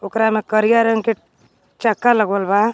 ओकरा मे करिया रंग के चक्का लगवल बा।